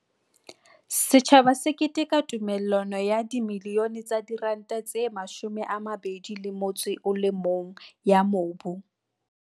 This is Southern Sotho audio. Setjhaba se keteka tumella no ya R21 milione ya mobu.